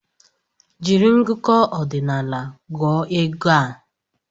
Jiri ngụkọ ọdinaala gụọ ego a!